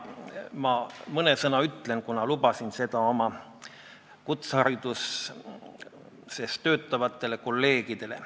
Ma mõne sõna ütlen, kuna lubasin seda oma kutsehariduses töötavatele kolleegidele.